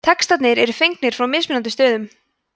textarnir eru fengnir frá mismunandi stöðum